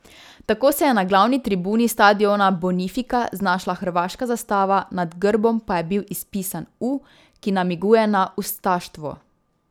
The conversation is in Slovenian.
Tako se je na glavni tribuni stadiona Bonifika znašla hrvaška zastava, nad grbom pa je bil izpisan U, ki namiguje na ustaštvo.